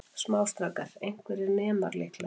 Smástrákar, einhverjir nemar líklega.